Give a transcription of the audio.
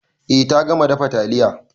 Eh ta gama dafa taliya.